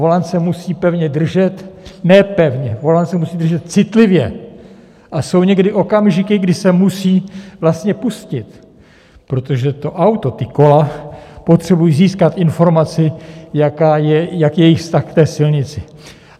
Volant se musí pevně držet - ne pevně, volant se musí držet citlivě, a jsou někdy okamžiky, kdy se musí vlastně pustit, protože to auto, ta kola potřebují získat informaci, jaký je jejich vztah k té silnici.